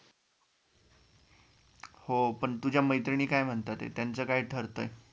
हो पण तुझ्या मैत्रिणी काय म्हणतायत त्याचं काय ठरतय?